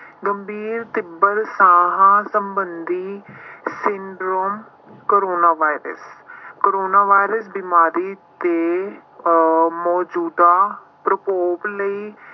ਗੰਭੀਰ ਤੀਬਰ ਸਾਹ ਸੰਬੰਧੀ syndrome corona virus corona virus ਬਿਮਾਰੀ ਤੇ ਅਹ ਮੌਜੂਦਾ ਪ੍ਰਕੋਪ ਲਈ